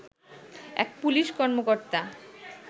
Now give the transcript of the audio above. এক পুলিশ কর্মকর্তা